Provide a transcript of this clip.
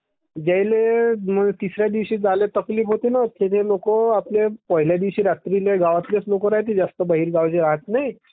ज्यायल्ये तिसऱ्या दिवशी जायल्ये तकलिफ होत्ये ना त्ये लोकं पहिल्या दिवशी रात्री गावातले लोकं is not clear जे राहात नाहीत..